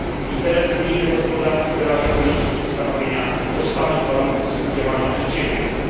Interes unijnej gospodarki wyraża konieczność ustanowienia tożsamych warunków współdziałania przedsiębiorstw.